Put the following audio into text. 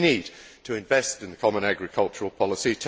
We need to invest in the common agricultural policy.